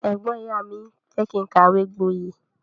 Ẹgbọn ìyá mi fẹ kí n kàwé gbọye.